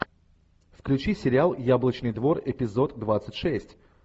включи сериал яблочный двор эпизод двадцать шесть